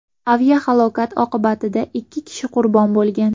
Aviahalokat oqibatida ikki kishi qurbon bo‘lgan.